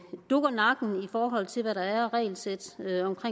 dukker nakken i forhold til hvad der er af regelsæt